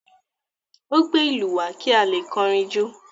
Ó gbé ìlú wá kí a lè kọrin jó?